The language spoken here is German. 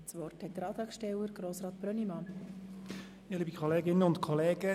Nun hat der Antragsteller Grossrat Brönnimann das Wort.